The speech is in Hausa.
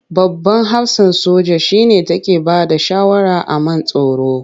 Babban hafsan soja shi ne take bada shawara a man tsaro.